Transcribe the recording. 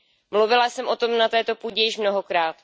Mluvila jsem o tom na této půdě již mnohokrát.